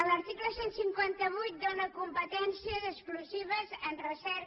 l’article cent i cinquanta vuit dóna competències exclusives en recerca